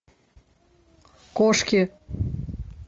кошки